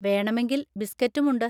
വേണമെങ്കിൽ ബിസ്കറ്റും ഉണ്ട്.